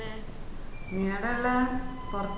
ഇഞ് എട ഇല്ലേ പൊർത്താ